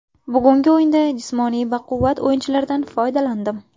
Bugungi o‘yinda jismoniy baquvvat o‘yinchilardan foydalandim.